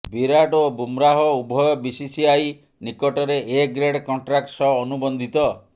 ବିରାଟ୍ ଓ ବୁମ୍ରାହ ଉଭୟ ବିସିସିଆଇ ନିକଟରେ ଏ ଗ୍ରେଡ୍ କଣ୍ଟ୍ରାକ୍ଟ ସହ ଅନୁବନ୍ଧିତ